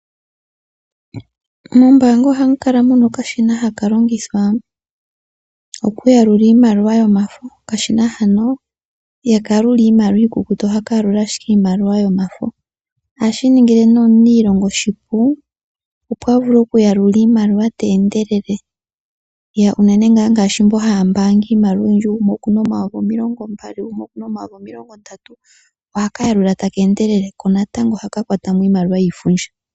Mombanga ohamu kala mu na okashina haka longithwa okuyalula iimaliwa yomafo. Okashina hano ihaka yalula iimaliwa iikukutu, ohaka yalula owala iimaliwa yomafo. Ohashi ningile omuniilonga oshipu opo a vule okuyalula iimaliwa te endelele ngaashi mboka haya mbaanga iimaliwa oyindji ngaashi gumwe oku na omayovi omilongombali, gumwe oku naomayovi omilongondatu. Ohaka yalula taka endele, ko ohaka kwata mo iimaliwa yiifundja.